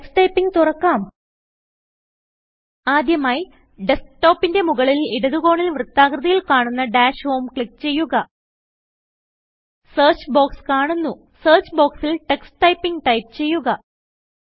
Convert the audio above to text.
Tux Typingതുറക്കാം ആദ്യമായി ഡസ്ക്ടോപ്പിന്റെ മുകളിൽ ഇടത് കോണിൽ വൃത്താകൃതിയിൽ കാണുന്ന ഡാഷ് ഹോം ക്ലിക്ക് ചെയ്യുക സെർച്ച് ബോക്സ് കാണുന്നു സെർച്ച് ബോക്സിൽ Tux Typingടൈപ്പ് ചെയ്യുക